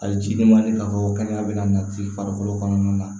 Hali ciden ma deli k'a fɔ ko kɛnɛya bɛ nati farikolo kɔnɔna na